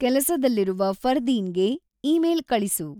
ಕೆಲಸದಲ್ಲಿರುವ ಫರ್ದೀನ್‌ಗೆ ಇಮೇಲ್ ಕಳಿಸು